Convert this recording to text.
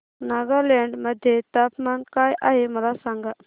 नागालँड मध्ये तापमान काय आहे मला सांगा